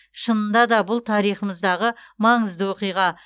шынында да бұл тарихымыздағы маңызды оқиға